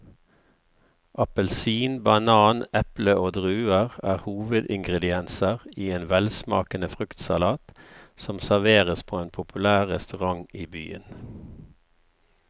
Appelsin, banan, eple og druer er hovedingredienser i en velsmakende fruktsalat som serveres på en populær restaurant i byen.